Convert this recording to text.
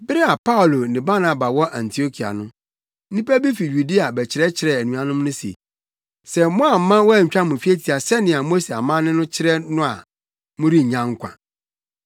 Bere a Paulo ne Barnaba wɔ Antiokia no, nnipa bi fi Yudea bɛkyerɛkyerɛɛ anuanom no se, “Sɛ moamma wɔantwa mo twetia sɛnea Mose amanne no kyerɛ no a morennya nkwa.”